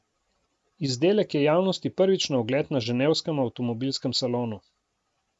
Izdelek je javnosti prvič na ogled na ženevskem avtomobilskem salonu.